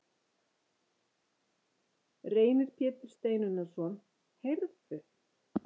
Reynir Pétur Steinunnarson: Heyrðu?